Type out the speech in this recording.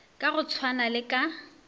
ka go tshwana le ka